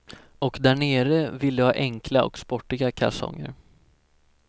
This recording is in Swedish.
Och där nere vill de ha enkla och sportiga kalsonger.